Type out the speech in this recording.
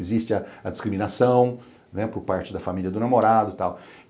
Existe a discriminação né por parte da família do namorado e tal.